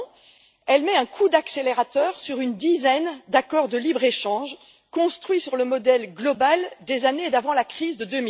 Au contraire, elle met un coup d'accélérateur sur une dizaine d'accords de libre échange construits sur le modèle mondial des années d'avant la crise de